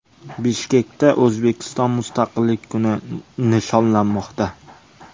Bishkekda O‘zbekiston Mustaqillik kuni nishonlanmoqda.